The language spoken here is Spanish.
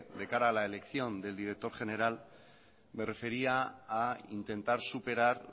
de cara a la elección del director general me refería a intentar superar